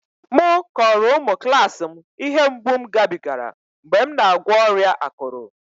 Mụ kọrọ ụmụ klas m ihe mgbu m gabigara mgbe m na-agwọ ọrịa akụrụ